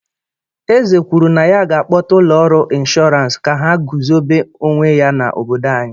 Eze kwuru na ya ga-akpọta ụlọ ọrụ ịnshọransị ka ha guzobe onwe ya n’obodo anyị.